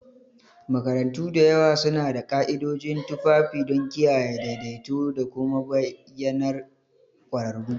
Makarantu da yawa suna da ka'idojin tufafi don kiyaye daidaito da kuma bayyanar ƙwararru.